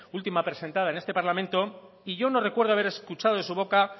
última presentada en este parlamento y yo no recuerdo haber escuchado de su boca